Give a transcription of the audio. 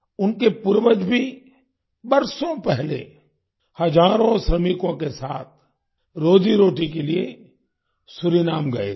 उनके पूर्वज भी बरसों पहले हज़ारों श्रमिकों के साथ रोजीरोटी के लिए सूरीनाम गए थे